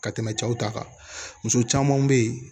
Ka tɛmɛ cɛw ta kan muso caman bɛ yen